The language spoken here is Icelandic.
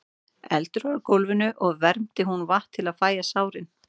Eldur var á gólfinu og vermdi hún vatn til að fægja sárin.